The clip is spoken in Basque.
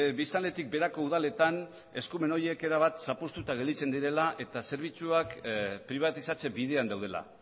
biztanletik beherako udaletan eskumen horiek erabat zapuztuta gelditzen direla eta zerbitzuak pribatizatze bidean daudela